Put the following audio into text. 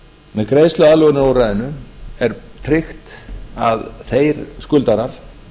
með greiðsluaðlögunarúrræðinu er tryggt að þeir skuldarar